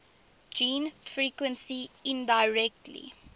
gene frequency indirectly